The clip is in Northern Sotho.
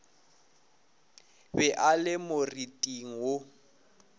be a le moriting wo